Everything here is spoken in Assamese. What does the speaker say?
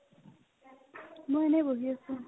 মই এনে বহি আছো ।